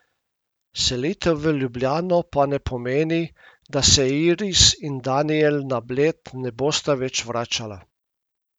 Selitev v Ljubljano pa ne pomeni, da se Iris in Danijel na Bled ne bosta več vračala.